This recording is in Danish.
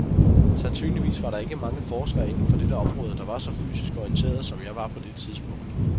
Sandsynligvis var der ikke mange forskere inden for dette område, der var så fysisk orienteret, som jeg var på det tidspunkt.